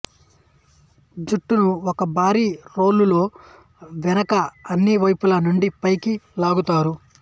జుట్టును ఒక భారీ రోలులో వెనుక అన్ని వైపుల నుండి పైకి లాగుతారు